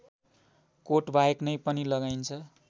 कोटबाहेक नै पनि लगाइन्छ